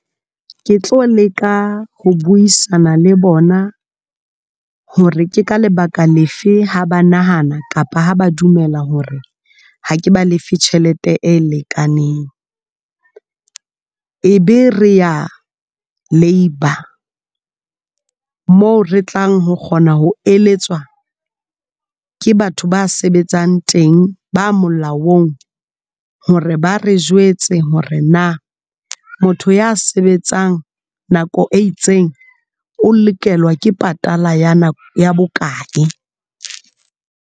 Ke tlo leka ho buisana le bona hore ke ka lebaka lefe, ha ba nahana kapa ha ba dumela hore ha ke ba lefe tjhelete e lekaneng. E be re ya Labour moo re tlang ho kgona ho eletswa ke batho ba sebetsang teng ba molaong hore ba re jwetse hore na motho ya sebetsang nako e itseng o lokelwa ke patala ya bokae?